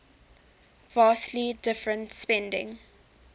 vastly different spending